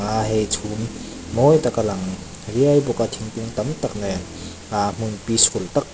ah hei chhum mawi tak a lang riai bawk a thingkung tam tak nen ah hmun peaceful tak--